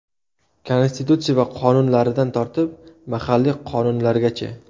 Konstitutsiya va qonunlaridan tortib, mahalliy qonunlargacha.